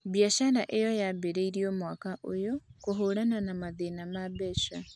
Biacara ĩno yambĩrĩirio mwaka ũyũ kũhũrana na mathĩna ma mbeca